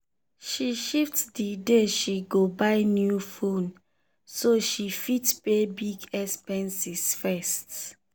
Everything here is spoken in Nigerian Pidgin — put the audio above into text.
she shift the day she go buy new phone so she fit pay big expenses first.